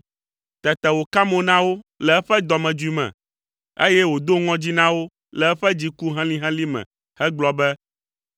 Tete wòka mo na wo le eƒe dɔmedzoe me, eye wòdo ŋɔdzi na wo le eƒe dziku helĩhelĩ me hegblɔ be,